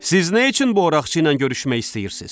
Siz nə üçün bu Oraqçı ilə görüşmək istəyirsiz?